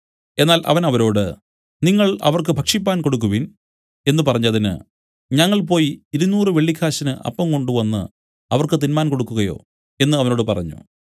എന്നാൽ അവൻ അവരോട് നിങ്ങൾ അവർക്ക് ഭക്ഷിക്കുവാൻ കൊടുക്കുവിൻ എന്നു പറഞ്ഞതിന് ഞങ്ങൾ പോയി ഇരുനൂറ് വെള്ളിക്കാശിന് അപ്പം കൊണ്ടവന് അവർക്ക് തിന്മാൻ കൊടുക്കുകയോ എന്നു അവനോട് പറഞ്ഞു